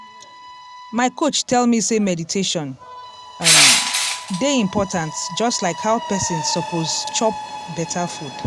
my coach tell me sey meditation um dey important just like how person suppose chop beta food.